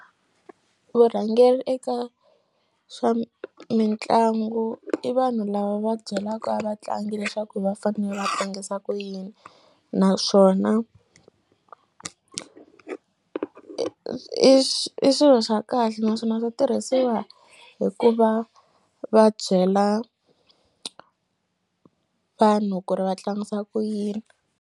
Vurhangeri eka swa mitlangu i vanhu lava va byelaka vatlangi leswaku va fane va tlangisa ku yini naswona i i swilo swa kahle naswona swa tirhisiwa hi ku va va byela vanhu ku ri va tlangisa ku yini.